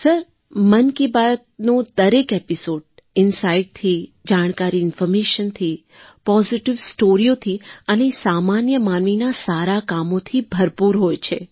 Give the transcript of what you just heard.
sir મન કી બાતનો દરેક એપિસૉડ ઇનસાઇટથી જાણકારી ઇન્ફૉર્મેશનથી પૉઝિટિવ સ્ટૉરીઓથી અને સામાન્ય માનવીનાં સારાં કામોથી ભરપૂર હોય છે